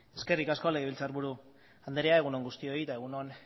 eskerrik asko legebiltzarburu anderea egun on guztioi eta egun on